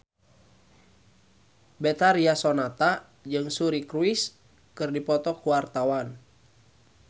Betharia Sonata jeung Suri Cruise keur dipoto ku wartawan